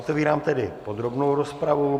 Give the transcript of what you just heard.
Otevírám tedy podrobnou rozpravu.